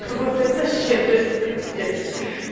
вот эта щедристь пиздец